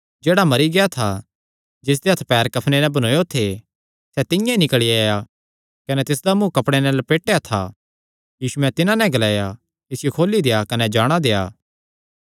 जेह्ड़ा मरी गेआ था जिसदे हत्थ पैर कफने नैं बन्नेयो थे सैह़ तिंआं ई निकल़ी आया कने तिसदा मुँ कपड़े नैं लपेटया था यीशुयैं तिन्हां नैं ग्लाया इसियो खोली देआ कने जाणा देआ